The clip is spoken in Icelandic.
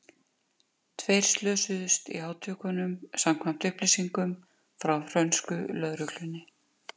Tveir slösuðust í átökunum samkvæmt upplýsingum frá frönsku lögreglunni.